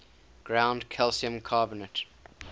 ground calcium carbonate